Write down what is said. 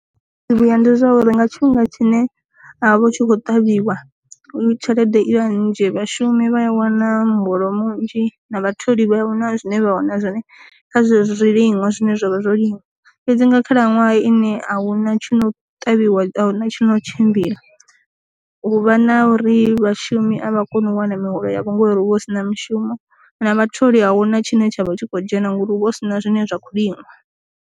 Zwi vhuya ndi zwauri nga tshifhinga tshine a vha tshi kho ṱavhiwa tshelede i vha nnzhi, vhashumi vha a wana muholo munzhi na vhatholi vha ahuna zwine vha wana zwone kha zwi zwiliṅwa zwine zwavha zwo liṅwa. Fhedzi nga khalaṅwaha ine ahuna tshi no ṱavhiwa tshi no tshimbila u vha na uri vhashumi avha koni u wana miholo ya vho ngori hu vha hu si na mushumo, na vha tholi ahuna tshine tsha vha tshi khou dzhena ngori huvha hu si na zwine zwa kho liṅwa.